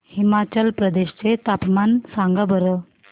हिमाचल प्रदेश चे तापमान सांगा बरं